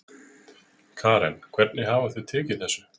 Karen hvernig hafa þau tekið þessu?